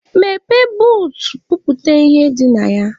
Meghee buut, bupute ihe dị na ya!